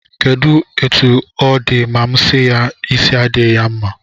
Kedụ etu ọ dị ma m si ya, isi adịghị ya mma